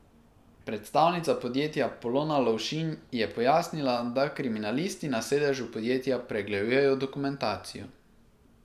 Predstavnica podjetja Polona Lovšin je pojasnila, da kriminalisti na sedežu podjetja pregledujejo dokumentacijo.